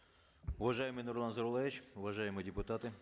уважаемый нурлан зайроллаевич уважаемые депутаты